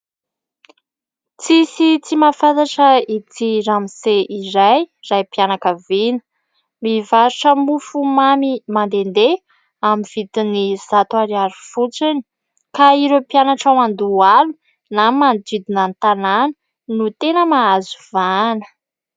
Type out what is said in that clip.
Tsisy tsy mahafantatra ity ramose iray raim-pianakaviana mivarotra mofomamy mandendeha amin'ny vidin'ny zato ariary fotsiny ka ireo mpianatra ao Andohalo na manodidina ny tanàna no tena mahazo vahana.